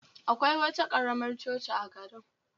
Akwai wata karamar coci a garin